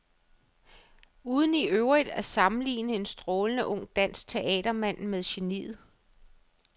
Uden i øvrigt at sammenligne en strålende ung dansk teatermand med geniet.